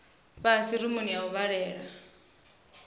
fhasi rumuni ya u vhalela